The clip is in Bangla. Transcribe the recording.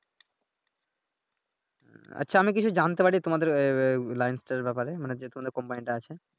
আচ্ছা আমি কি কিছু জানতে পারি তোমাদের license এর ব্যাপারে মানি যে তোমাদের company টা আছে ।